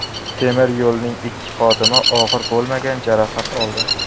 Temir yo‘lning ikki xodimi og‘ir bo‘lmagan jarohat oldi.